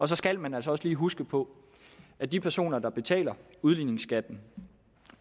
så skal man altså også lige huske på at de personer der betaler udligningsskatten